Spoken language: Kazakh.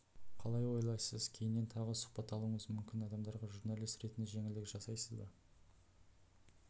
қалай ойлайсыз кейінен тағы сұхбат алуыңыз мүмкін адамдарға журналист ретінде жеңілдік жасайсыз ба